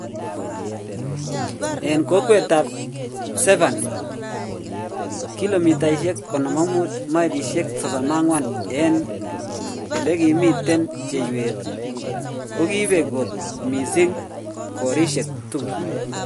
En kokwet ap Severny, 55km mailishe 34 en elegimiten cheiwet kogipek kot missing korishek tugul